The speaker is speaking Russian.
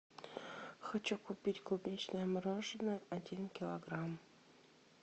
хочу купить клубничное мороженое один килограмм